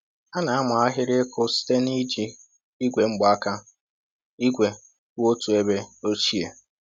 Ha na-ama ahịrị ịkụ site n’iji igwe mgbaaka igwe kwụ otu ebe ochie.